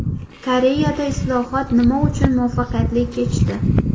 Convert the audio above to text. Koreyada islohot nima uchun muvaffaqiyatli kechdi?